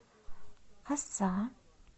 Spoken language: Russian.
оса